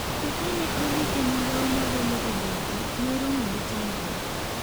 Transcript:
To kane odhi e migao magolo oboke, noromo gi chandruok